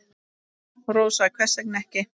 Rósa: Hvers vegna ekki?